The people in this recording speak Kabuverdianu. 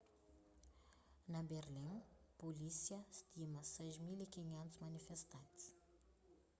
na berlin pulísia stima 6.500 manifestantis